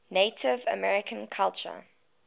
native american culture